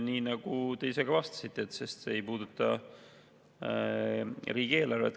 Nii nagu te ise vastasite, sest see ei puuduta riigieelarvet.